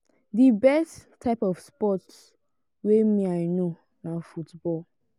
the best type of sports wey me i know na football.